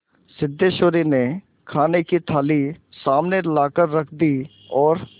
सिद्धेश्वरी ने खाने की थाली सामने लाकर रख दी और